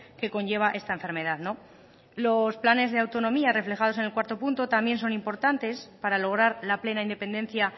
que conlleva esta enfermedad los planes de autonomía reflejados en cuarto punto también son importantes para lograr la plena independencia